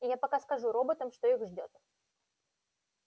я пока скажу роботам что их ждёт